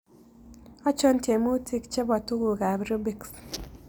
Achon tyemuutik chebo tuguukap rubiks